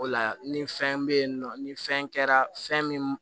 O la ni fɛn bɛ yen nɔ ni fɛn kɛra fɛn min